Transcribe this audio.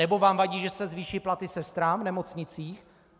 Anebo vám vadí, že se zvýší platy sestrám v nemocnicích?